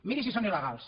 miri si són il·legals